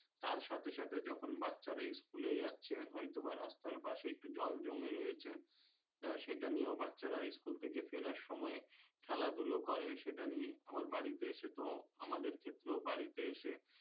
তার সাথে সাথে যখন বাচ্চারা স্কুলে যাচ্ছে হয়তো বা রাস্তার পাশে একটু জল জমে রয়েছে তা সেটা নিয়েও বাচ্চারা স্কুল থেকে ফেরার সময় খেলাধুলো করে সেটা নিয়ে আবার বাড়িতে এসে তো আমাদের ক্ষেত্রেও বাড়িতে এসে